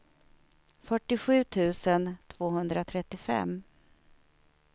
fyrtiosju tusen tvåhundratrettiofem